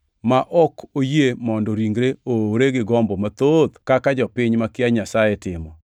ma ok oyie mondo ringre oowre gi gombo mathoth kaka jopiny makia Nyasaye timo.